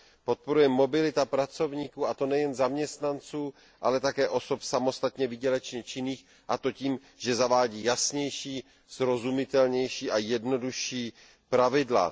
Podporuje mobilitu pracovníků, a to nejen zaměstnanců, ale také osob samostatně výdělečně činných, a to tím, že zavádí jasnější, srozumitelnější a jednodušší pravidla.